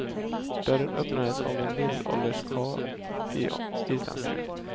Dörren öppnades av en medelålders karl i islandströja.